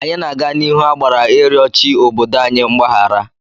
Anyị na-aga n'ihu agbara ịrịọ chi obodo anyị mgbahara.